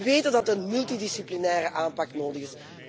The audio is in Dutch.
En we weten dat een multidisciplinaire aanpak nodig is.